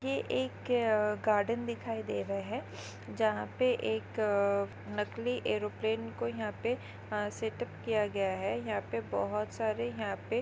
ये एक अ गार्डन दिखाई दे रहा है जहा पे एक अ नकली एरोप्लेन को यहा पे अह सेट अप किया गया है यहा पे बहुत सारे यहा पे--